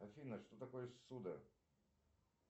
афина что такое ссуда